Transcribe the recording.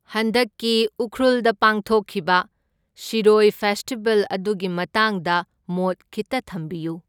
ꯍꯟꯗꯛꯀꯤ ꯎꯈ꯭ꯔꯨꯜꯗ ꯄꯥꯡꯊꯣꯛꯈꯤꯕ ꯁꯤꯔꯣꯢ ꯐꯦꯁꯇꯤꯚꯦꯜ ꯑꯗꯨꯒꯤ ꯃꯇꯥꯡꯗ ꯃꯣꯠ ꯈꯤꯠꯇ ꯊꯝꯕꯤꯌꯨ꯫